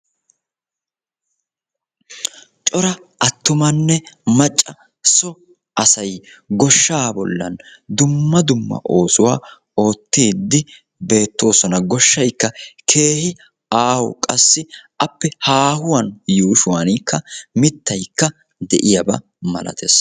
cora attumanne macca so asay goshshaa bollan dumma dumma oosuwaa oottide beettoosona; goshshaykka keehin aaho qassi appe keehin haahuwan mittaykka de'iyaaba malatees